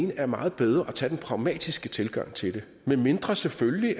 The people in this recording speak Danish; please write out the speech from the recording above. det er meget bedre at tage den pragmatiske tilgang til det medmindre selvfølgelig